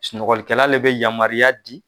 Sunɔgɔlikɛla de bɛ yamaruya di